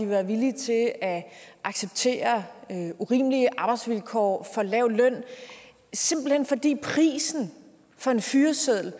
være villige til at at acceptere urimelige arbejdsvilkår og for lav løn fordi prisen for en fyreseddel